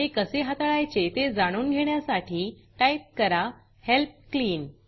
हे कसे हाताळायचे ते जाणून घेण्यासाठी टाईप करा हेल्प क्लीन